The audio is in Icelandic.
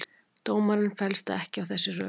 Dómarinn fellst ekki á þessi rök